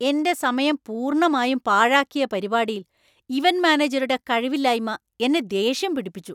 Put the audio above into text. എന്‍റെ സമയം പൂർണ്ണമായും പാഴാക്കിയ പരിപാടിയിൽ ഇവന്‍റ് മാനേജരുടെ കഴിവില്ലായ്മ എന്നെ ദേഷ്യം പിടിപ്പിച്ചു .